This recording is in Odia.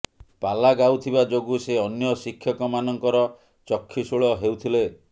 ପାଲା ଗାଉ ଥିବା ଯୋଗୁଁ ସେ ଅନ୍ୟ ଶିକ୍ଷକମାନଙ୍କର ଚକ୍ଷୁଶୂଳ ହେଉଥିଲେ